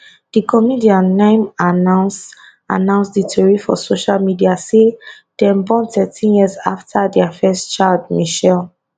di comedian na im announce announce di tori for social media say dem born thirteen years afta dia first child michelle